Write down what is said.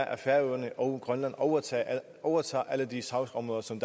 at færøerne og grønland overtager overtager alle de sagsområder som